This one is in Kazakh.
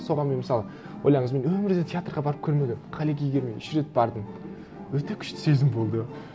соған мен мысалы ойлаңыз мен өмірде театрға барып көрмегенмін мен үш рет бардым өте күшті сезім болды